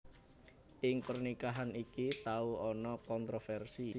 Ing pernikahan iki tau ana kontrofersi